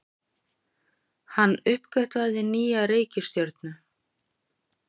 Hann uppgötvaði nýja reikistjörnu!